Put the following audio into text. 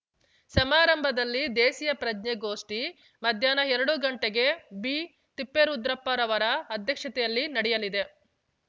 ಸಮಾರಂಭದಲ್ಲಿ ದೇಸೀಯ ಪ್ರಜ್ಞೆ ಗೋಷ್ಠಿ ಮಧ್ಯಾಹ್ನ ಎರಡು ಗಂಟೆಗೆ ಬಿತಿಪ್ಪೇರುದ್ರಪ್ಪ ರವರ ಅಧ್ಯಕ್ಷತೆಯಲ್ಲಿ ನಡೆಯಲಿದೆ